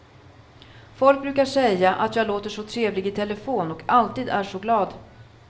Folk brukar säga att jag låter så trevlig i telefon och alltid är så glad.